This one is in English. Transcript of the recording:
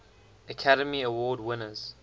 academy award winners